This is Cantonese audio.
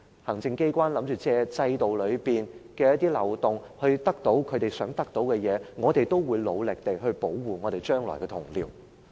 行政機關打算借制度的一些漏洞來得到想得到的東西，我們要努力保護將來的同僚。